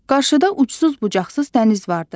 Qarşıda ucsuz-bucaqsız dəniz vardı.